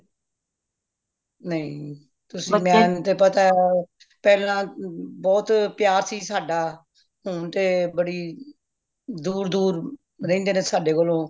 ਨਹੀਂ ਮੈਨੂੰ ਤੇ ਪਤਾ ਪਹਿਲਾਂ ਬਹੁਤ ਪਿਆਰ ਸੀ ਸਾਡਾ ਹੁਣ ਤੇ ਬੜੀ ਦੂਰ ਦੂਰ ਰਹਿੰਦੇ ਨੇ ਸਾਡੇ ਕੋਲੋਂ